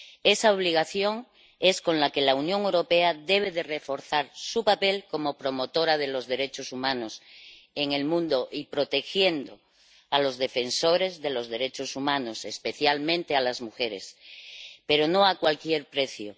Esa obligación es la que ha de llevar a la Unión Europea a reforzar su papel como promotora de los derechos humanos en el mundo, protegiendo a los defensores de los derechos humanos, especialmente a las mujeres, pero no a cualquier precio.